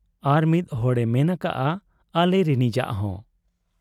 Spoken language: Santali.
ᱟᱨᱢᱤᱫ ᱦᱚᱲᱮ ᱢᱮᱱ ᱟᱠᱟᱜ ᱟ ᱟᱟᱞᱤᱨᱤᱱᱤᱡᱟᱟᱜ ᱦᱚᱸ ᱾